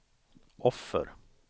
offer